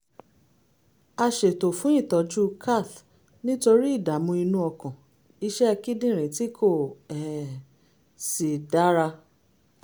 a ṣètò fún ìtọ́jú cath nítorí ìdààmú inú ọkàn iṣẹ́ kíndìnrín tí kò um sì dára